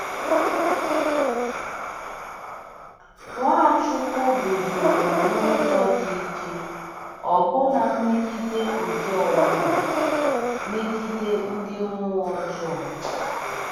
Nwachukwu guzoro n’ụzọ dị ike ọbụna megide ike ọbụna megide ndị mmụọ ọjọọ.